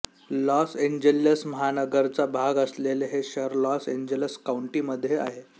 loss Angeles महानगराचा भाग असलेले हे शहर लॉस एंजेलस काउंटीमध्ये आहे